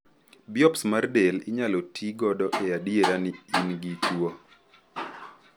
Biops mar del inyalo ti godo e adiera ni in gi tuo.